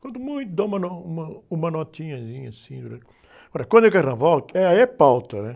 Quando muito, dá uma nó, uma, uma notinhazinha assim durante. Agora, quando é carnaval, é, aí é pauta, né?